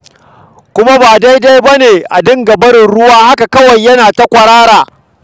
Kuma ba daidai ba ne a dinga barin ruwa yana ta kwarara haka kawai.